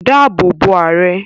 Dáàbò bo Ààrẹ!